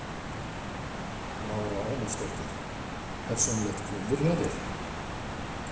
Lára Ómarsdóttir: Persónulegt klúður hjá þér?